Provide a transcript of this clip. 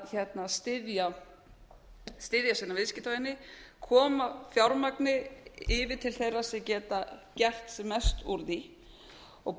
vera í því að styðja sína viðskiptavini koma fjármagni yfir til þeirra sem geta gert sem mest úr því og